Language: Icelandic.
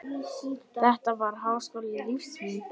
Þetta var háskóli lífs míns.